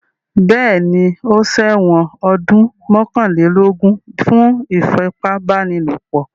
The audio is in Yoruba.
Bẹ́ẹ̀ní, ó ṣẹ̀wọ̀n ọdún mọ́kànlélógún fún ìfipábánilòpọ̀.